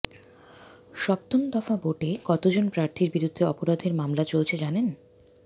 সপ্তম দফা ভোটে কতজন প্রার্থীর বিরুদ্ধে অপরাধের মামলা চলছে জানেন